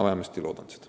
Ma vähemasti loodan seda.